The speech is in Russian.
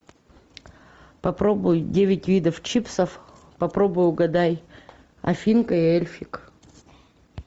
попробуй девять видов чипсов попробуй угадай афинка и эльфик